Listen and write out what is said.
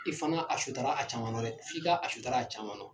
I fana a sutara a caman nɔ dɛ, f'i ka a sutara a caman nɔ.